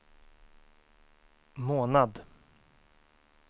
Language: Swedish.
månad